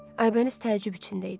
Aybəniz təəccüb içində idi.